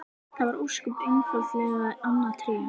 Það var ósköp einfaldlega annað Tré!